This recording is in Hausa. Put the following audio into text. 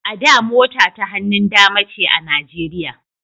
A da mota ta hannun dama ce a Nijeriya